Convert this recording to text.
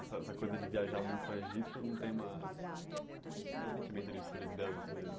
E essa essa coisa de viajar muito para Registro não tem uma nenhum sentimento de solidão, às vezes?